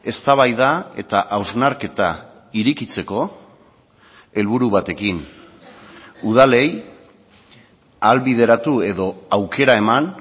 eztabaida eta hausnarketa irekitzeko helburu batekin udalei ahalbideratu edo aukera eman